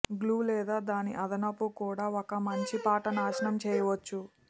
glue లేదా దాని అదనపు కూడా ఒక మంచి పాట నాశనం చేయవచ్చు